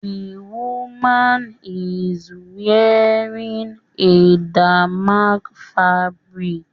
The woman is wearing a damask fabric